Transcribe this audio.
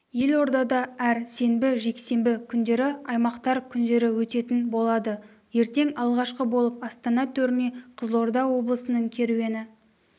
елордада әр сенбі-жексенбі күндері аймақтар күндері өтетін болады ертең алғашқы болып астана төріне қызылорда облысының керуені